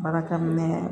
Baarakɛ minɛ